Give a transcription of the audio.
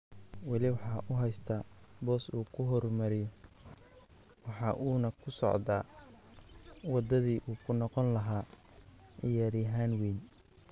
Weli waxa uu haystaa boos uu ku horumariyo waxa uuna ku socdaa wadadii uu ku noqon lahaa ciyaaryahan weyn.""